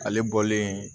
Ale bɔlen